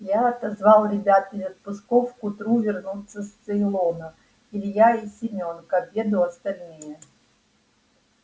я отозвал ребят из отпусков к утру вернутся с цейлона илья и семён к обеду остальные